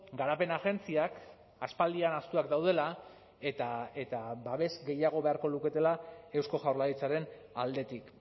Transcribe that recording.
garapen agentziak aspaldian ahaztuak daudela eta babes gehiago beharko luketela eusko jaurlaritzaren aldetik